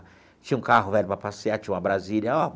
Tinha um carro velho para passear, tinha uma Brasília.